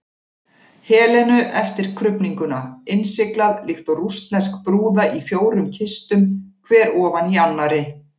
Helenu eftir krufninguna, innsiglað líkt og rússnesk brúða í fjórum kistum, hver ofan í annarri.